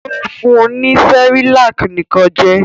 Ó fun ní Cerelac nìkan jẹ?